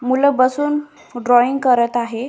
मूल बसून ड्रॉइंग करत आहे.